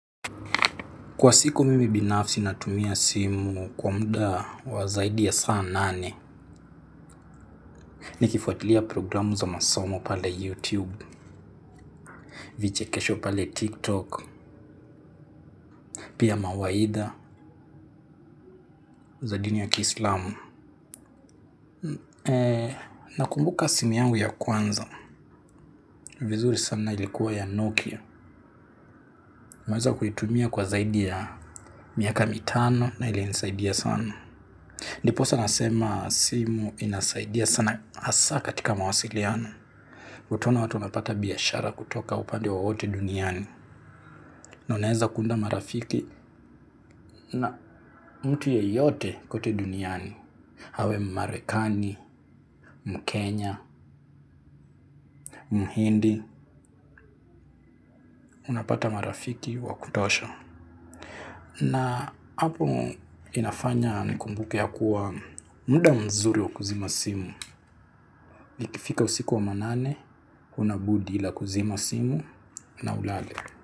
Kwa siku mimi binafsi natumia simu kwa muda wa zaidi ya saa nane nikifuatilia programu za masomo pale YouTube, vichekesho pale TikTok pia mawaidha za dini ya kiislamu. Nakumbuka simu yangu ya kwanza. Vizuri sana ilikuwa ya Nokia nimeweza kuitumia kwa zaidi ya miaka mitano na ilinisaidia sana. Ndiposa nasema simu inasaidia sana hasa katika mawasiliano utaona watu wanapata biashara kutoka upande wowote duniani. Na unaweza kuunda marafiki na mtu yeyote kote duniani. Awe mmarekani, mkenya, mhindi. Unapata marafiki wa kutosha. Na hapo inafanya nikumbuke ya kuwa muda mzuri wa kuzima simu. Nikifika usiku wa manane, huna budi ila kuzima simu na ulale.